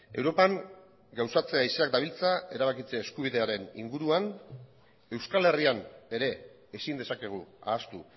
europan gauzatze haizeak dabiltza erabakitze eskubidearen inguruan euskal herrian ere ezin dezakegu ahaztu